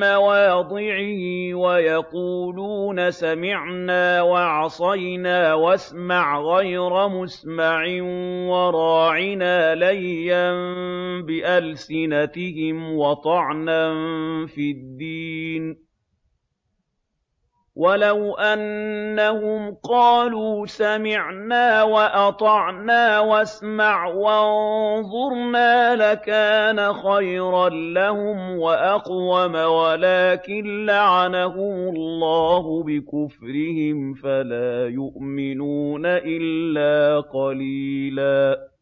مَّوَاضِعِهِ وَيَقُولُونَ سَمِعْنَا وَعَصَيْنَا وَاسْمَعْ غَيْرَ مُسْمَعٍ وَرَاعِنَا لَيًّا بِأَلْسِنَتِهِمْ وَطَعْنًا فِي الدِّينِ ۚ وَلَوْ أَنَّهُمْ قَالُوا سَمِعْنَا وَأَطَعْنَا وَاسْمَعْ وَانظُرْنَا لَكَانَ خَيْرًا لَّهُمْ وَأَقْوَمَ وَلَٰكِن لَّعَنَهُمُ اللَّهُ بِكُفْرِهِمْ فَلَا يُؤْمِنُونَ إِلَّا قَلِيلًا